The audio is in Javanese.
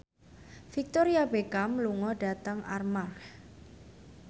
Victoria Beckham lunga dhateng Armargh